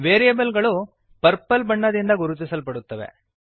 variables ಗಳು purple purple ಬಣ್ಣದಿಂದ ಗುರುತಿಸಲ್ಪಡುತ್ತವೆ